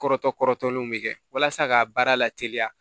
Kɔrɔtɔ kɔrɔtɔlenw be kɛ walasa ka baara la teliya